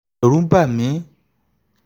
ẹ̀rù n bà mí